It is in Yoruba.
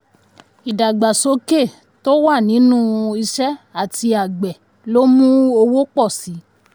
ìdàgbàsókè tó wà nínú iṣẹ́ àti àgbẹ̀ lo mú owó pọ̀ síi.